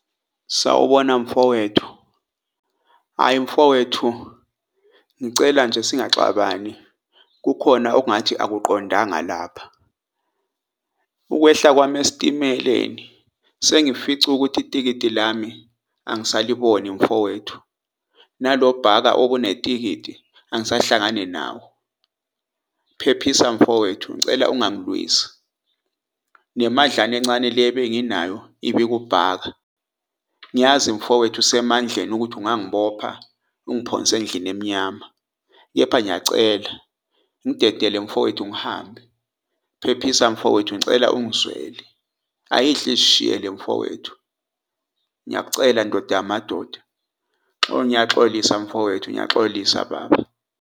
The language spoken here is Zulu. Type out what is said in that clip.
Sawubona mfowethu hhayi mfowethu, ngicela nje singaxabani, kukhona okungathi akuqondanga lapha . Ukwehla kwami esitimeleni sengifica ukuthi itikiti lami angisaliboni mfowethu. Nalobhaka obunetikiti angisahlangani nawo. Phephisa mfowethu ngicela ungangilwisi , nemadlana encane le ebenginayo ibikubhaka. Ngiyazi mfowethu usemandleni ukuthi ungangibopha ungiphonse endlini emnyama. Kepha ngiyacela ngidedele mfowethu, ngihambe. Phephisa mfowethu, ngicela ungizwele, ayidle izishiyele mfowethu, ngiyakucela ndoda yamadoda ngiyaxolisa mfowethu, ngiyaxolisa baba.